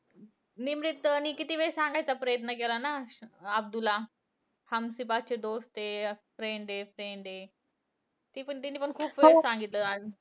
निमरीत अं ने किती वेळेस सांगायचा प्रयत्न केला ना अब्दूला. हम सिर्फ अच्छे दोस्त है. असं friend आहे friend आहे. ती पण तिने पण खूप वेळेस सांगितलं असं.